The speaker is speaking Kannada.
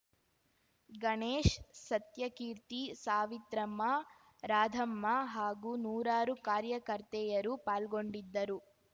ಗಣೇಶ್‌ ಸತ್ಯಕೀರ್ತಿ ಸಾವಿತ್ರಮ್ಮ ರಾಧಮ್ಮ ಹಾಗೂ ನೂರಾರು ಕಾರ್ಯಕರ್ತೆಯರು ಪಾಲ್ಗೊಂಡಿದ್ದರು